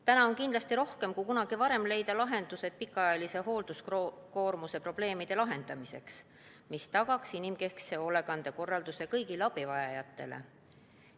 Täna on kindlasti rohkem kui kunagi varem vaja leida lahendus pikaajalise hoolduskoormuse probleemidele, et tagada inimkeskne hoolekandekorraldus kõigile abivajajatele.